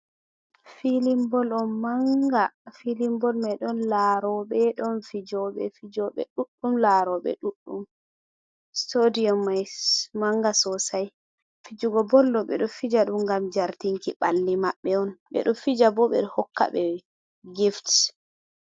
Filinbol on manga filin bol mai ɗon laroɓe ɗon fijoɓe fijoɓe ɗuɗɗum laroɓe ɗuɗɗum sitadiyom mai manga sosai fijoɓe bol ɓe do fija ɗum ngam jartinki ɓalli maɓɓe on ɓedo fija bo ɓe hokka ɓe gifts.